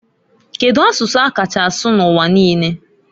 Kedu asụsụ a kacha asụ n'uwa niine?